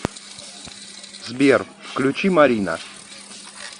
сбер включи марина